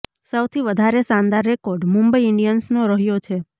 સૌથી વધારે શાનદાર રેકોર્ડ મુંબઈ ઇન્ડિયન્સનો રહ્યો છે